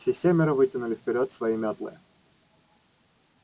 все семеро вытянули вперёд свои мётлы